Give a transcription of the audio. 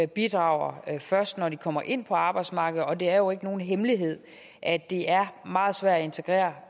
bidrager først når de kommer ind på arbejdsmarkedet og det er jo ikke nogen hemmelighed at det er meget svært at integrere